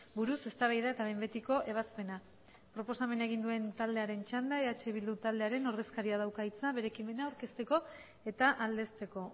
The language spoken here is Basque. buruz eztabaida eta behin betiko ebazpena proposamena egin duen taldearen txanda eh bildu taldearen ordezkaria dauka hitza bere ekimena aurkezteko eta aldezteko